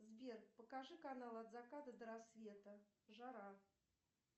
сбер покажи канал от заката до рассвета жара